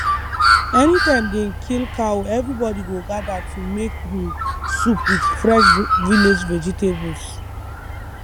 anytime dem kill cow everybody go gather to make um soup with fresh vi village vegetables